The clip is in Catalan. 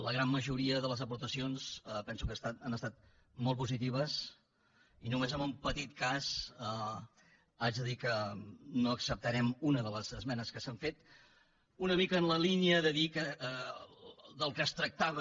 la gran majoria de les aportacions penso que han estat molt positives i només amb un petit cas haig de dir que no acceptarem una de les esmenes que s’han fet una mica en la línia de dir que del que es tractava